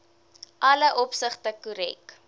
alle opsigte korrek